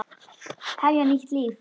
Hefja nýtt líf.